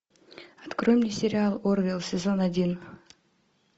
открой мне сериал орвилл сезон один